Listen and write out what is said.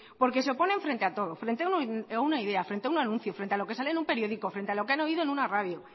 porque se oponen frente a todo frente a una idea frente a un anuncio frente a lo que sale en un periódico frente a lo que han oído en una radio